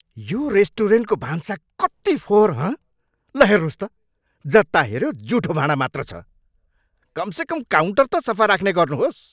यो रेस्टुरेन्टको भान्सा कति फोहोर, हँ? ल हेर्नुहोस् त, जता हेऱ्यो जुठो भाँडा मात्र छ। कमसेकम काउन्टर त सफा राख्ने गर्नुहोस्!